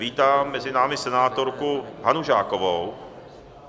Vítám mezi námi senátorku Hanu Žákovou.